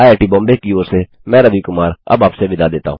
IIT Bombay की ओर से मैं रवि कुमार अब आप से विदा लेता हूँ